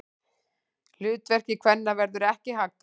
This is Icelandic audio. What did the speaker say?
Hlutverki kvenna verður ekki haggað.